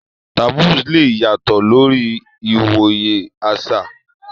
Taboos lè yàtọ̀ lórí ìwòye àṣà.